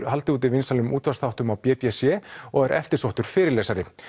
haldið úti vinsælum útvarpsþáttum á b b c og er eftirsóttur fyrirlesari